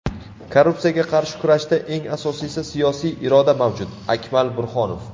Korrupsiyaga qarshi kurashda eng asosiysi siyosiy iroda mavjud – Akmal Burxonov.